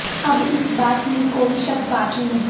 اب اس با ت میں کو ئی شک باقی نہیں